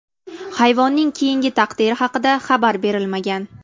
Hayvonning keyingi taqdiri haqida xabar berilmagan.